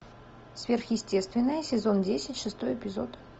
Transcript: сверхъестественное сезон десять шестой эпизод